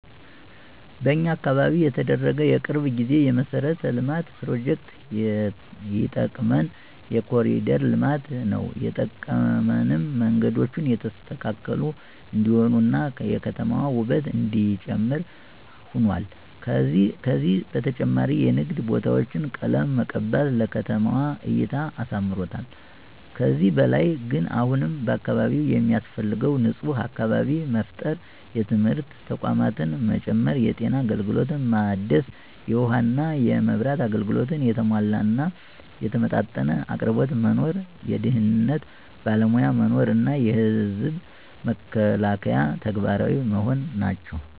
በኛ አካባቢ የተደረገ የቅርብ ጊዜ የመሠረተ ልማት ፕሮጀክት የጠቀመን የኮሪደር ልማት ነው የጠቀመንም መንገዶቹ የተስተካከሉ እንዲሆኑ እና የከተማዋ ውበት እነዲጨምር ሁኗል። ከዚ በተጨማሪም የንግድ ቦታዎች ቀለም መቀባት ለከተማዋ እይታ አሳምሮታል። ከዚህ በላይ ግን አሁንም በአካባቢው የሚያስፈልገው ንፁህ አካባቢ መፍጠር፣ የትምህርት ተቋማት መጨመር፣ የጤና አገልግሎት ማደስ፣ የውሃ እና የመብራት አገልግሎት የተሟላ እና የተመጣጠነ አቅርቦት መኖር፣ የደህንነት ባለሞያ መኖር እና የዘብ መከላከያ ተግባራዊ መሆን ናቸው።